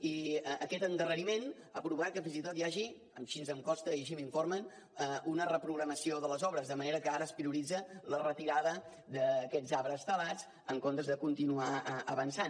i aquest endarreriment ha provocat que fins i tot hi hagi així em consta i així m’informen una reprogramació de les obres de manera que ara es prioritza la retirada d’aquests arbres talats en comptes de continuar avançant